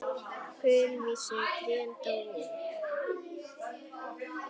Kulvísu trén dóu út.